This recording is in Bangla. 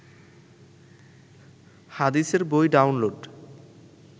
হাদিসের বই ডাউনলোড